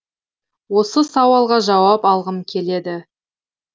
осы сауалға жауап алғым келеді